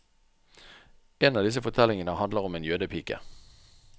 En av disse fortellingene handler om en jødepike.